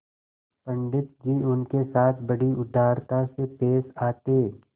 पंडित जी उनके साथ बड़ी उदारता से पेश आते